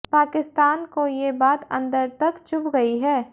पाकिस्तान को ये बात अंदर तक चुभ गयी है